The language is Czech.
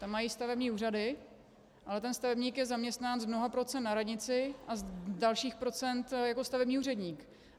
Tam mají stavební úřady, ale ten stavebník je zaměstnán z mnoha procent na radnici a z dalších procent jako stavební úředník.